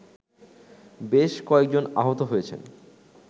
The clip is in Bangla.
বেশ কয়েকজন আহত হয়েছেন